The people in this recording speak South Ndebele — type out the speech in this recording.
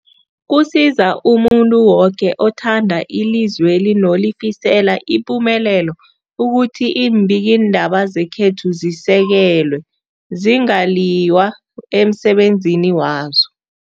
Kusiza umuntu woke othanda ilizweli nolifisela ipumelelo ukuthi iimbikiindaba zekhethu zisekelwe, zingaliywa emsebenzini wazo.